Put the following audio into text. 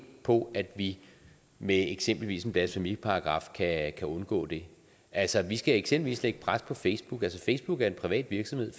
på at vi med eksempelvis en blasfemiparagraf kan undgå det altså vi skal eksempelvis lægge pres på facebook facebook er en privat virksomhed